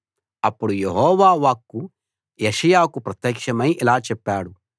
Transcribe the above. అప్పుడు యెహోవా వాక్కు యెషయాకు ప్రత్యక్షమై ఇలా చెప్పాడు